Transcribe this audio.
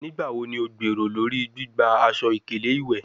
Nigbawo ni o gbero lori gbigba aṣọ-ikele iwẹ?